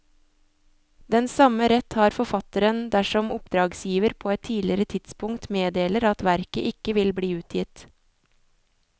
Den samme rett har forfatteren dersom oppdragsgiver på et tidligere tidspunkt meddeler at verket ikke vil bli utgitt.